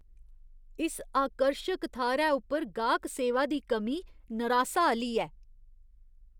इस आकर्शक थाह्‌रै उप्पर गाह्क सेवा दी कमी नरासा आह्‌ली ऐ ।